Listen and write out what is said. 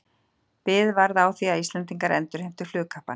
Bið varð á því, að Íslendingar endurheimtu flugkappann.